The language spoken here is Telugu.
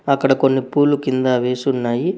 అక్కడ కొన్ని పూలు కింద వేసి ఉన్నాయి.